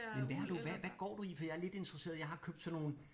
Men hvad har du hvad hvad går du i fordi jeg er lidt interesseret jeg har købt sådan nogle